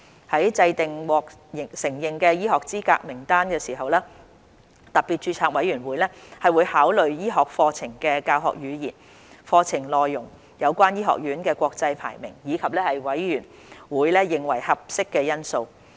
在制訂獲承認的醫學資格名單時，特別註冊委員會會考慮醫學課程的教學語言、課程內容，有關醫學院的國際排名，以及委員會認為合適的因素。